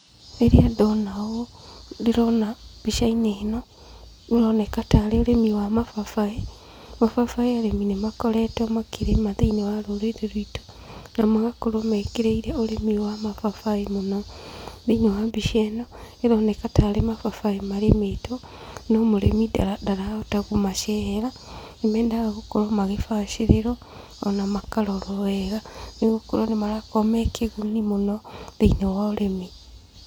Rĩrĩa ndona ũũ, ndĩrona mbica-inĩ ĩno, ũroneka tarĩ ũrĩmi wa mababaĩ, mababaĩ arĩmi nĩ makoretwo makĩrĩma thĩinĩ wa rũrĩrĩ rwitũ, na magakorwo mekĩrĩire ũrĩmi wa mababaĩ mũno, thĩinĩ wa mbica ĩno, ĩroneka tarĩ mababaĩ marĩmĩtwo, no mũrĩmi ndarahota kũmacehera, nĩ mendaga gũkorwo magĩbacĩrĩrwo, ona makarorwo wega, nĩgũkorwo nĩ marakorwo me kĩguni mũno thĩinĩ wa ũrĩmi.